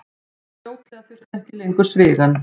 Fljótlega þurfti ekki lengur svigann.